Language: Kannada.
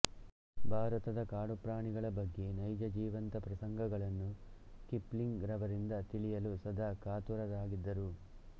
ಭಾರತದ ಕಾಡುಪ್ರಾಣಿಗಳ ಬಗ್ಗೆ ನೈಜ ಜೀವಂತಪ್ರಸಂಗಗಳನ್ನು ಕಿಪ್ಲಿಂಗ್ ರವರಿಂದ ತಿಳಿಯಲು ಸದಾಕಾತುರರಾಗಿದ್ದರು